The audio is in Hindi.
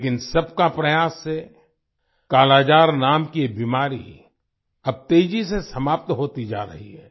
लेकिन सबके प्रयास से कालाजार नाम की ये बीमारी अब तेजी से समाप्त होती जा रही है